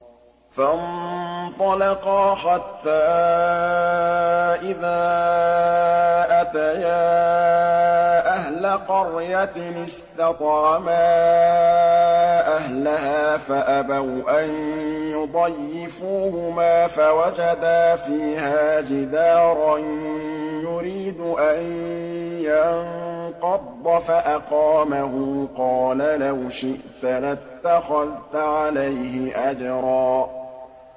فَانطَلَقَا حَتَّىٰ إِذَا أَتَيَا أَهْلَ قَرْيَةٍ اسْتَطْعَمَا أَهْلَهَا فَأَبَوْا أَن يُضَيِّفُوهُمَا فَوَجَدَا فِيهَا جِدَارًا يُرِيدُ أَن يَنقَضَّ فَأَقَامَهُ ۖ قَالَ لَوْ شِئْتَ لَاتَّخَذْتَ عَلَيْهِ أَجْرًا